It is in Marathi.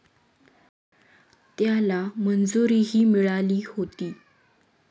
त्याला मंजुरीही मिळाली होती.